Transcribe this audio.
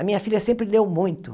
A minha filha sempre leu muito.